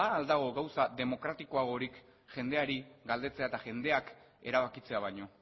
ba al dago gauza demokratikoagorik jendeari galdetzea eta jendeak erabakitzea baino